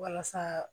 Walasa